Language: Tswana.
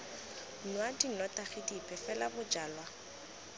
nwa dinotagi dipe fela bojalwa